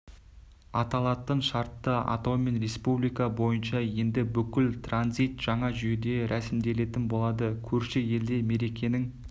аталатын шартты атаумен республика бойынша енді бүкіл транзит жаңа жүйеде рәсімделетін болады көрші елде мерекенің